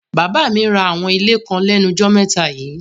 Bàbá mi ra àwọn ilé kan lẹ́nujọ́ mẹ́ta yíì.